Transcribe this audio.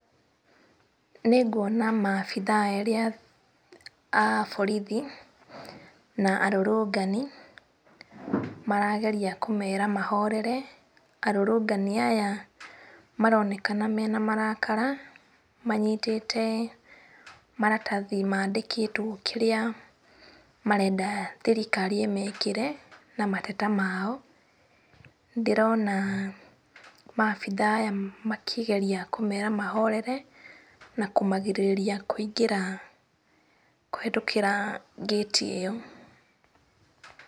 Nĩnguona maabithaa erĩ a borithi na arũrũngani marageria kũmera mahorere. Arũrũngani aya maronekana mena marakara manyitĩte maratathi mandĩkĩtwo kĩrĩa marenda thirikari ĩmekĩre na mateta mao. Nĩndĩrona maabithaa aya makĩgeria kũmera mahorere na kũmagirĩrĩria kũingĩra kũhĩtũkĩra ngĩti ĩyo.